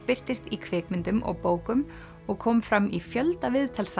birtist í kvikmyndum og bókum og kom fram í fjölda